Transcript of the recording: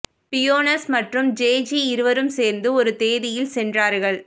Buenos மற்றும் Jay Z இருவரும் சேர்ந்து ஒரு தேதியில் சென்றார்கள்